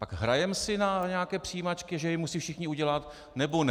Tak hrajeme si na nějaké přijímačky, že je musí všichni udělat, nebo ne?